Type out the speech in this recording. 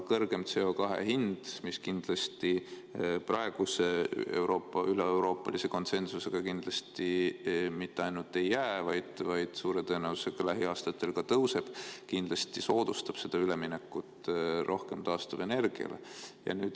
Kõrgem CO2 hind, mis praeguse üleeuroopalise konsensusega kindlasti mitte ainult selliseks ei jää, vaid suure tõenäosusega lähiaastatel ka tõuseb, kindlasti soodustab üleminekut rohkem taastuvenergia kasutamisele.